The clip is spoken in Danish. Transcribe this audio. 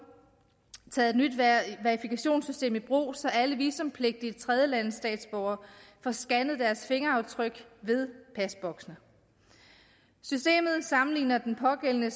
taget et nyt verifikationssystem i brug så alle visumpligtige tredjelandsstatsborgere får scannet deres fingeraftryk ved pasboksene systemet sammenligner den pågældende